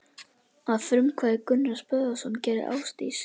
Að frumkvæði Gunnars Böðvarssonar gerði Ásdís